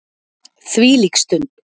Þvílík stund.